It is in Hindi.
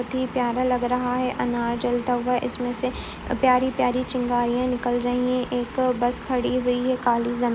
ही प्यारा लग रहा है। अनार जलता हुआ इसमें से अ प्यारी-प्यारी चिंगारियां निकल रही हैं। एक बस खड़ी हुई है। काली जन --